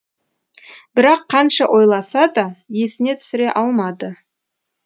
бірақ қанша ойласа да есіне түсіре алмады